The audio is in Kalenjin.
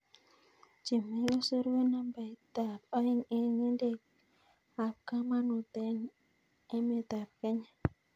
Chemoikosor konambaitab oeng' en ng'endekab komonut en emetab Kenya.